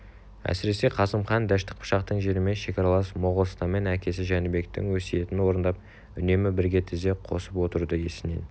әсіресе қасым хан дәшті қыпшақтың жерімен шекаралас моғолстанмен әкесі жәнібектің өсиетін орындап үнемі бірге тізе қосып отыруды есінен